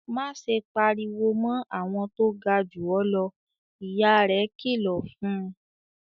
"Má ṣe pariwo mọ́ àwọn tó ga jù ọ́ lọ!" Ìyá rẹ̀ kìlọ̀ fún un.